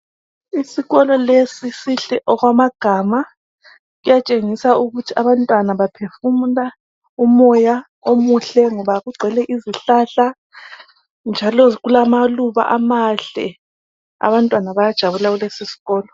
Isikolo lesi sihle okwamagama siyatshengisa ukuthi abantwana baphefumula umoya omuhle ngoba kugcwele izihlahla njalo kulamaluba amahle abantwana bayajabula kulesi sikolo.